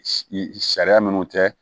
Sariya minnu tɛ